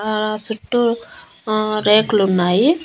ఆ సుట్టూ రేకులు ఉన్నాయి.